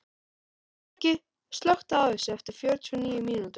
Skeggi, slökktu á þessu eftir fjörutíu og níu mínútur.